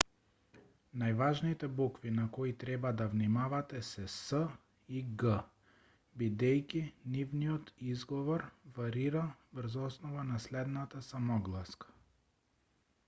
"најважните букви на кои треба да внимавате се c" и g" бидејќи нивниот изговор варира врз основа на следната самогласка.